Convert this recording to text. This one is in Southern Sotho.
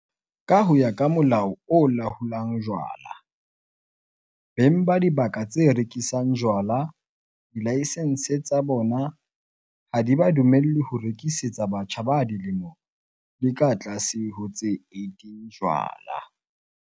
Ka ho ya ka Molao o Laolang Jwala, beng ba dibaka tse rekisang jwala dilaesense tsa bona ha di ba dumelle ho rekisetsa batjha ba dilemo di ka tlase ho tse 18 jwala.